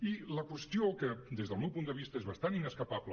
i la qüestió que des del meu punt de vista és bastant inescapable